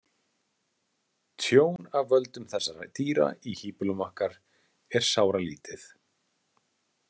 Tjón af völdum þessara dýra í híbýlum okkar er sáralítið.